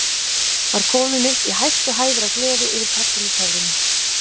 Var kominn upp í hæstu hæðir af gleði yfir persónutöfrunum.